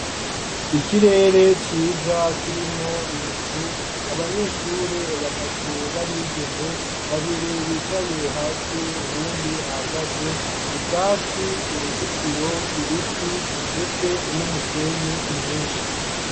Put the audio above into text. Ikirere ciza, kirimwo ibicu, abanyeshure batatu, b'abigeme; babiri bicaye hasi, uwundi ahagaze; ubwatsi, uruzitiro, ibiti, ndetse n'umusenyi, mwinshi.